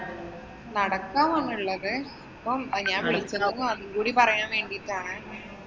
നടക്കാവ് ആണുള്ളത്. ഇപ്പം ഞാന്‍ വിളിക്കണതും അതുംകൂടി പറയാന്‍ വേണ്ടീട്ടാണ്.